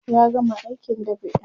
ya gama aikin dab'in